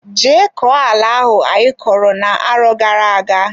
Je koo ala ahụ anyo kọrọ na arọ gara aga!